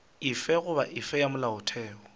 efe goba efe ya molaotheo